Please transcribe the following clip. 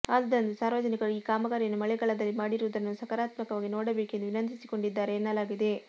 ಆದುದರಿಂದ ಸಾರ್ವಜನಿಕರು ಈ ಕಾಮಗಾರಿಯನ್ನು ಮಳೆಗಾಲದಲ್ಲಿ ಮಾಡಿರುವುದನ್ನು ಸಕಾರಾತ್ಮಕವಾಗಿ ನೋಡಬೇಕೆಂದು ವಿನಂತಿಸಿಕೊಂಡಿದ್ದಾರೆ ಎನ್ನಲಾಗಿದೆ